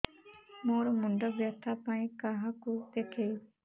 ମୋର ମୁଣ୍ଡ ବ୍ୟଥା ପାଇଁ କାହାକୁ ଦେଖେଇବି